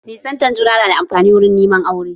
Nisanta juna na da amfani wuri neman aure